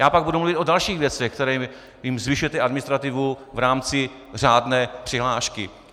Já pak budu mluvit o dalších věcech, kterými jim zvyšujete administrativu, v rámci řádné přihlášky.